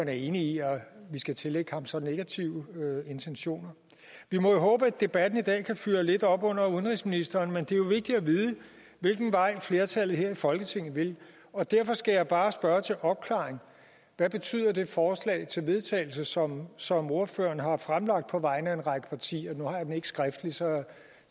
er enig i at vi skal tillægge ham så negative intentioner vi må håbe at debatten i dag kan fyre lidt op under udenrigsministeren men det er jo vigtigt at vide hvilken vej flertallet her i folketinget vil og derfor skal jeg bare spørge til opklaring hvad betyder det forslag til vedtagelse som som ordføreren har fremlagt på vegne af en række partier nu har jeg den ikke skriftligt så jeg